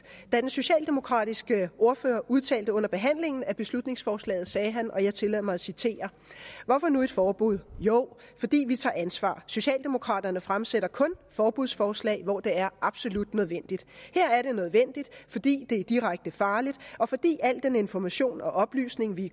den socialdemokratiske ordfører udtalte under behandlingen af beslutningsforslaget og jeg tillader mig at citere hvorfor nu et forbud jo fordi vi tager ansvar socialdemokraterne fremsætter kun forbudsforslag hvor det er absolut nødvendigt her er det nødvendigt fordi det er direkte farligt og fordi al den information og oplysning vi